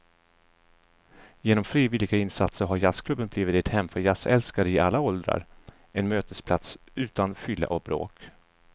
Genom frivilliga insatser har jazzklubben blivit ett hem för jazzälskare i alla åldrar, en mötesplats utan fylla och bråk.